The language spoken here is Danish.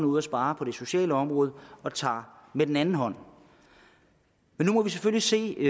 ud og sparer på det sociale område og tager med den anden hånd men nu må vi selvfølgelig se